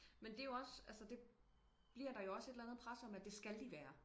Men det jo også altså det bliver der jo også et eller andet pres om at det skal de være